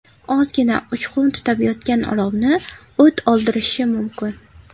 Ozgina uchqun tutab yotgan olovni o‘t oldirishi mumkin.